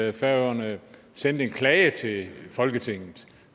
i færøerne sendte en klage til folketinget